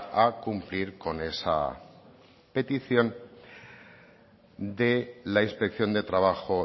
a cumplir con esa petición de la inspección de trabajo